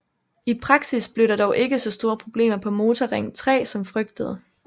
I praksis blev der dog ikke så store problemer på Motorring 3 som frygtet